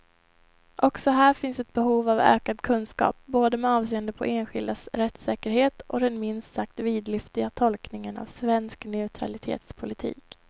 Också här finns behov av ökad kunskap, både med avseende på enskildas rättssäkerhet och den minst sagt vidlyftiga tolkningen av svensk neutralitetspolitik.